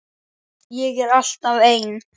Ég er alltaf ein.